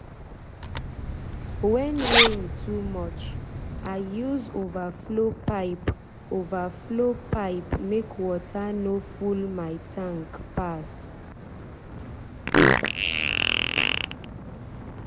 when rain too much i use overflow pipe overflow pipe make water no full my tank pass.